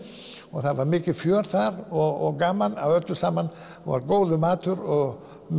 og það var mikið fjör þar og gaman að öllu saman það var góður matur og